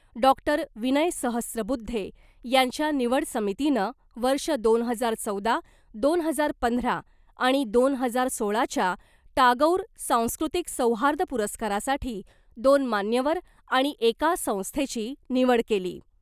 Doctor Vinay Sahasrabuddhe यांच्या निवड समितीनं वर्ष दोन हजार चौदा , दोन हजार पंधरा आणि दोन हजार सोळाच्या टागोर सांस्कृतिक सौहार्द पुरस्कारासाठी दोन मान्यवर आणि एका संस्थेची निवड केली .